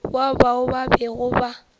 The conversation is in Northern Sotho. wa bao ba bego ba